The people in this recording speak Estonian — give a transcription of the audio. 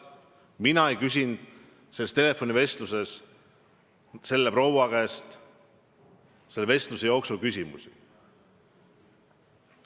Mina ei küsinud selles telefonivestluses selle proua käest küsimusi.